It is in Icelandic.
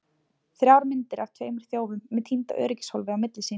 Þrjár myndir af tveimur þjófum með týnda öryggishólfið á milli sín!